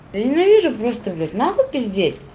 я ненавижу просто блять нахуй пиздеть